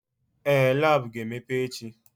Ee! Lab ga-emepe echi.